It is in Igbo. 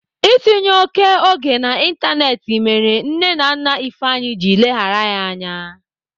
Itinye oké oge n'Ịntanetị mere nne na nna Ifeanyi ji leghara ha anya.